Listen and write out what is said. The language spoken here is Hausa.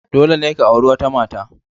Dole ne ka auri wata mata.